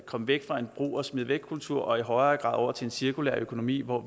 komme væk fra en brug og smid væk kultur og i højere grad over til en cirkulær økonomi hvor